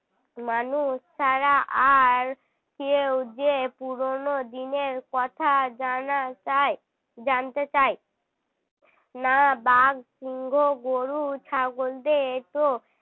মানুষ ছাড়া আর কেউ যে পুরনো দিনের কথা জানা যায় জানতে চায় না বাঘ গরু ছাগলদের তো